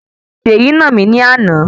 Seyi nà mí ní àna